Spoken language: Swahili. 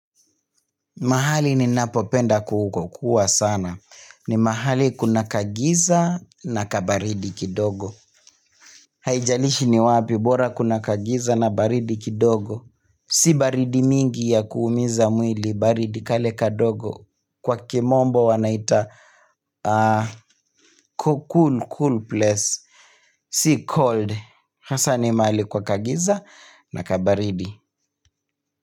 Mahali ninapopenda ku kukua sana. Ni mahali kuna kagiza na kabaridi kidogo. Haijalishi ni wapi bora kuna kagiza na baridi kidogo. Si baridi mingi ya kuumiza mwili baridi kale kadogo. Kwa kimombo wanaita cool cool place. Si cold. Hasa ni mahali kwa kagiza na kabaridi.